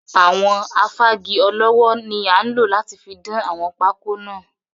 Àwọn Afági ọlọ́wọ́ ni a nlo láti fi dán àwọn pákọ́ náà.